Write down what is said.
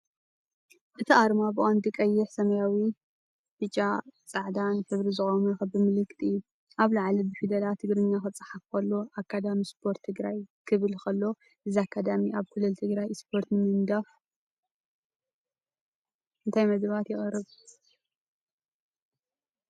እቲ ኣርማ ብቐንዱ ቀይሕ፣ ሰማያዊ፣ ብጫን ጻዕዳን ሕብሪ ዝቖመ ክቢ ምልክት እዩ። ኣብ ላዕሊ ብፊደላት ትግርኛ ክጽሓፍ ከሎ "ኣካዳሚ ስፖርት ትግራይ" ክብል ከሎ፡ እዚ ኣካዳሚ ኣብ ክልል ትግራይ ስፖርት ንምድንፋዕ እንታይ መደባት የቕርብ?